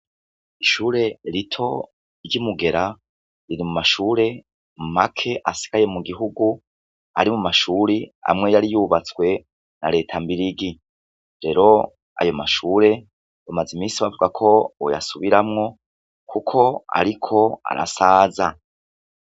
Ishure rito ry'imugera riri mumashure make asigaye mugihugu ari mumashure amwe yari yubatswe na reta mbirigi. Rero ayomashure bamaze imisi bavuga ko boyasubiramwo kuko ariko arasaza.